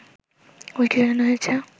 বইটি সাজানো হয়েছে